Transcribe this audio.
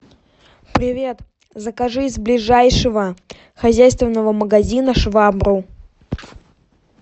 привет закажи из ближайшего хозяйственного магазина швабру